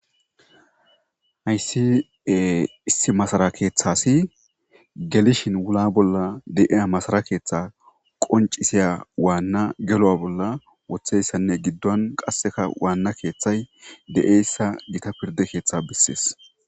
Hayssi e issi masara keeththasi gelishin wula bolla de'iya masara keeththe qoncisiya waanna gelo'a bolla wotheyssanne giddon qasseka waanna keeththay de'eyssa gita pirde keeththea bissees.